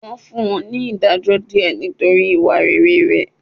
Wọ́n fún ní ìdájọ́ díẹ̀ nítorí ìwà rere rẹ̀.